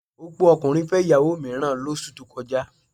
Opókùnrin fẹ́ ìyàwó mìíràn lóṣù tó kọjá